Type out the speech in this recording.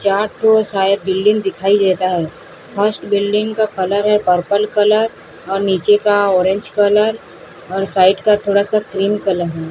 चार फ्लोर शायद बिल्डिंग दिखाई देता है फर्स्ट बिल्डिंग का कलर है पर्पल कलर और नीचे का ऑरेंज कलर और साइड का थोड़ा सा क्रीम कलर है।